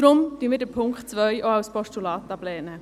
Deshalb lehnen wir den Punkt 2 auch als Postulat ab.